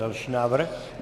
Další návrh.